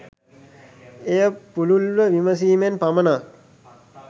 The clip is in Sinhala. එය පුළුල්ව විමසීමෙන් පමණක්